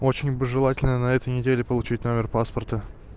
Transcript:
очень бы желательно на этой неделе получить номер паспорта